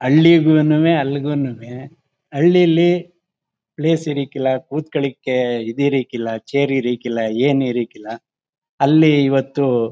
ಹಳ್ಳಿಗೂನೂವೆ ಅಲ್ಲಿಗೂನೂವೆ ಹಳ್ಲಿಲಿ ಪ್ಲೇಸ್ ಇರಾಕಿಲ್ಲ ಕೂತ್ ಕೊಳ್ಳಕ್ಕೆ ಇದ್ ಇರಾಕಿಲ್ಲ ಚೇರ್ ಇರಾಕಿಲ್ಲ ಏನು ಇರಕ್ಕಿಲ ಅಲ್ಲಿ ಇವತ್ತು.